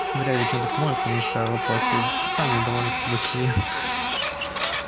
вряд ли чем-то поможет поможет твоя вопросы сами довольно-таки большие